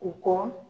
U kɔ